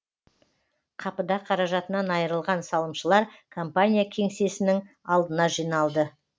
қапыда қаражатынан айырылған салымшылар компания кеңсесінің алдына жиналды